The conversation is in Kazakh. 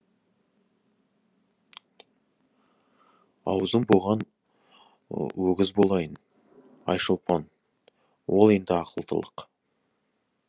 аузын буған өгіз болайын айшолпан ол енді ақылдылық